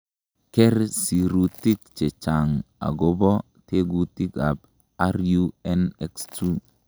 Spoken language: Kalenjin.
Ker sirutik chechang' akobo tekutikab RUNX2.